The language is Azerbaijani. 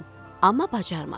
Amma bacarmadı.